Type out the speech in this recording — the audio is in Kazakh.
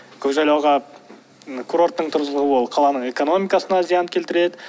көкжайлауға курорттың тұрғызылуы ол қаланың экономикасына зиян келтіреді